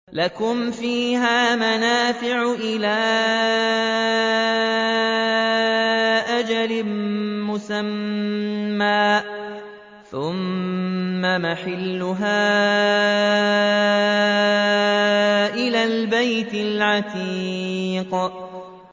لَكُمْ فِيهَا مَنَافِعُ إِلَىٰ أَجَلٍ مُّسَمًّى ثُمَّ مَحِلُّهَا إِلَى الْبَيْتِ الْعَتِيقِ